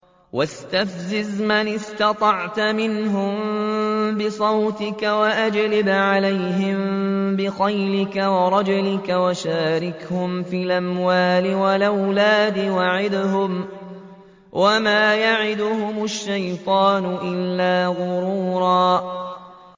وَاسْتَفْزِزْ مَنِ اسْتَطَعْتَ مِنْهُم بِصَوْتِكَ وَأَجْلِبْ عَلَيْهِم بِخَيْلِكَ وَرَجِلِكَ وَشَارِكْهُمْ فِي الْأَمْوَالِ وَالْأَوْلَادِ وَعِدْهُمْ ۚ وَمَا يَعِدُهُمُ الشَّيْطَانُ إِلَّا غُرُورًا